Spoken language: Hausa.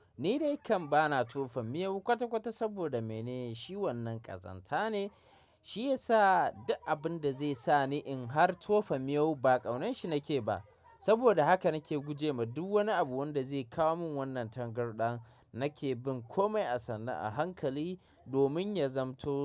Ni dai kam bana tofa miyau kwata-kwata saboda mene shi wannan ƙazanta ne, shi yasa duk abin da zai sa ni in har tofa miyau ba ƙaunarshi nake ba. Saboda haka nake gujema duk wani abu wanda zai kawo min wannan tangarɗan. Nake bin kome a sanna a hankali domin ya zamto.